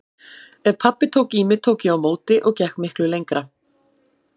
Ef pabbi tók í mig tók ég á móti og gekk miklu lengra.